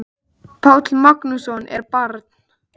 Páll Magnússon: Er ég barn?